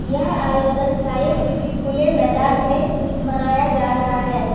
यह आयोजन शायद किसी खुले मैदान में मनाया जा रहा है।